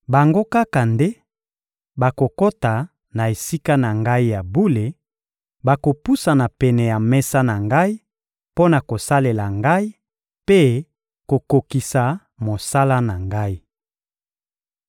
Bango kaka nde bakokota na Esika na Ngai ya bule, bakopusana pene ya mesa na Ngai mpo na kosalela Ngai mpe kokokisa mosala na Ngai.